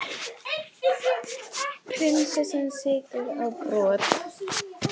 Prinsessan siglir á brott